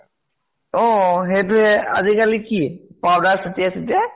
অ সেইটোহে। আজি কালি কি powder চতিয়াই চতিয়াই